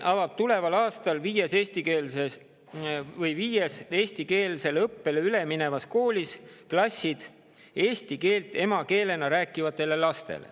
Tuleval aastal avab Tallinn viies eestikeelsele õppele üle minevas koolis klassid eesti keelt emakeelena rääkivatele lastele.